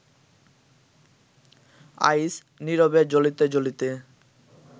আইস, নীরবে জ্বলিতে জ্বলিতে